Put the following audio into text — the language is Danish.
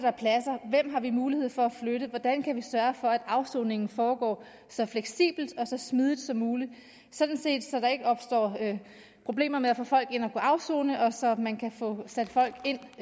mulighed for at flytte og hvordan man kan sørge for at afsoningen foregår så fleksibelt og så smidigt som muligt så der ikke opstår problemer med at få folk ind at afsone og så man kan få sat folk ind